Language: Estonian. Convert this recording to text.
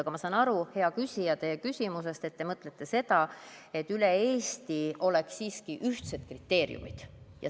Aga ma saan, hea küsija, teie küsimusest aru, et te mõtlete seda, et üle Eesti oleks siiski ühtsed kriteeriumid.